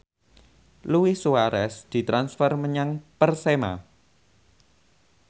Luis Suarez ditransfer menyang Persema